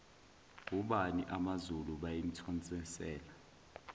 obani amazulu bayimthonselana